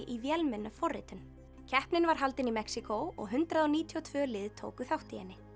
í keppnin var haldin í Mexíkó og hundrað níutíu og tvö lið tóku þátt í henni